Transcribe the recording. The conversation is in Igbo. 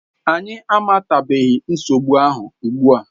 Anyị amatabeghị nsogbu ahụ ugbua.